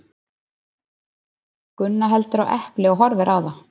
Gunna heldur á epli og horfir á það.